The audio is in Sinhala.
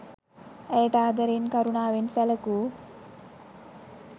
ඇයට ආදරයෙන් කරුණාවනේ සැලකූ